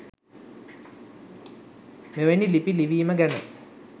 මෙවැනි ලිපි ලිවිම ගැන.